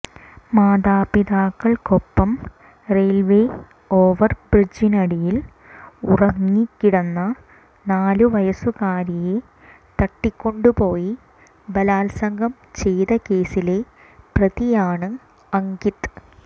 മാതാപിതാക്കൾക്കൊപ്പം railway ഓവർബ്രിഡ്ജിനടിയിൽ ഉറങ്ങിക്കിടന്ന നാലു വയസുകാരിയെ തട്ടിക്കൊണ്ടുപോയി ബലാത്സംഗം ചെയ്ത കേസിലെ പ്രതിയാണ് അങ്കിത്